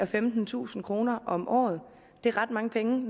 femtentusind kroner om året det er ret mange penge